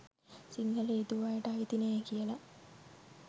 සිංහල යෙදූ අයට අයිති නෑ කියල.